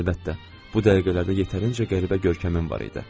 Əlbəttə, bu dəqiqələrdə yetərincə qəribə görkəmim var idi.